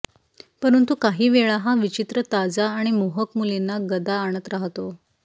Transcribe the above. परंतु काहीवेळा हा विचित्र ताजा आणि मोहक मुलींना गदा आणत राहतो